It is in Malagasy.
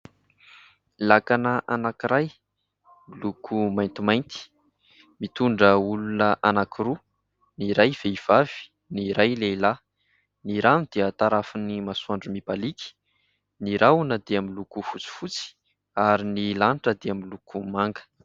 Lakana anankiray miloko maintimainty mitondra olona anankiroa : ny iray vehivavy, ny iray lehilahy. Ny rano dia tarafin'ny masoandro mibalika, ny rahona dia miloko fotsifotsy ary ny lanitra dia miloko manga.